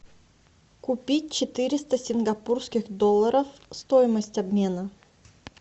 купить четыреста сингапурских долларов стоимость обмена